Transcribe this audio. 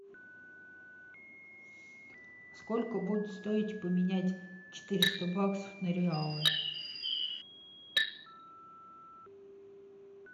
сколько будет стоить поменять четыреста баксов на реалы